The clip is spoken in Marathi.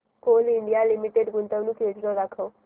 कोल इंडिया लिमिटेड गुंतवणूक योजना दाखव